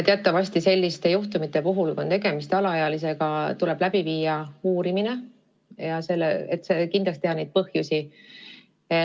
Teatavasti tuleb selliste juhtumite puhul, kui tegemist on alaealisega, läbi viia uurimine, et kindlaks teha põhjused.